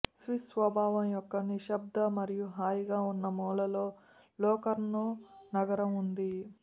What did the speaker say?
Swiss స్వభావం యొక్క నిశ్శబ్ద మరియు హాయిగా ఉన్న మూలలో లొకార్నో నగరం ఉంది